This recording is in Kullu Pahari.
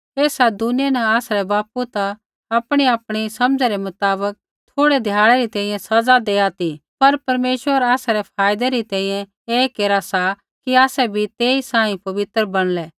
ऐसा दुनिया न आसरै बापू ता आपणीआपणी समझ़ै रै मुताबक थोड़ै ध्याड़ै री तैंईंयैं सज़ा दैआ ती पर परमेश्वर आसरै फायदै री तैंईंयैं ऐ केरा सा कि आसै बी तेई सांही पवित्र बणलै